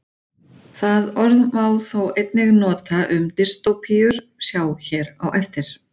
Það orð má þó einnig nota um dystópíur, sjá hér á eftir.